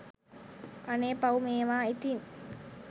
අනේ පව් මේවා ඉතින්